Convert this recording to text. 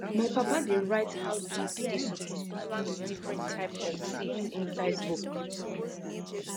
my papa dey write how deep dey suppose plant different type of seeds inside book